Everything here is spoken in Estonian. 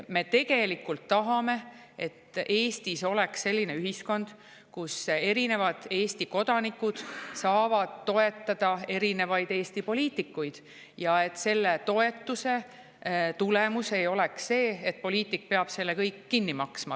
Me tegelikult tahame, et Eestis oleks selline ühiskond, kus erinevad Eesti kodanikud saavad toetada erinevaid Eesti poliitikuid, ja et selle toetuse tulemus ei oleks see, et poliitik peab selle kõik kinni maksma.